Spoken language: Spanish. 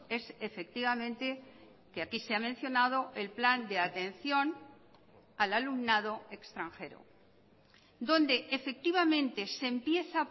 es efectivamente que aquí se ha mencionado el plan de atención al alumnado extranjero donde efectivamente se empieza